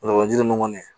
ninnu kɔni